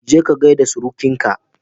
Je ka ka gaida surukinka.